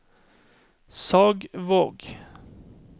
Sagvåg